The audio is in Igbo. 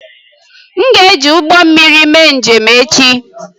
M ga-eji ụgbọ mmiri mee njem echi